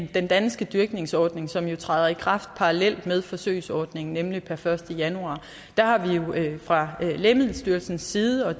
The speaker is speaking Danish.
den danske dyrkningsordning som jo træder i kraft parallelt med forsøgsordningen nemlig per første januar har vi fra lægemiddelstyrelsens side og